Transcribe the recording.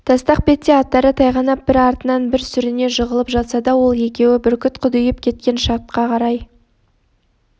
тастақ бетте аттары тайғанап бір артынан бір сүріне жығылып жатса да ол екеуі бүркіт құдиып кеткен шатқа қарай